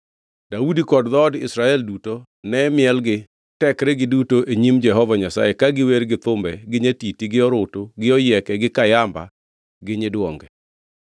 Daudi kod dhood Israel duto ne miel gi tekregi duto e nyim Jehova Nyasaye ka giwer gi thumbe gi nyatiti gi orutu gi oyieke gi kayamba gi nyiduonge.